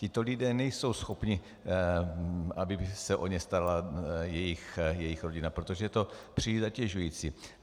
Tito lidé nejsou schopni, aby se o ně starala jejich rodina, protože je to příliš zatěžující.